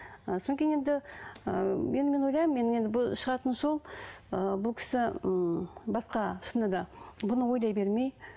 ы кейін енді ыыы енді мен ойлаймын енді бұл шығатын жол ы бұл кісі ммм басқа шынында да бұны ойлай бермей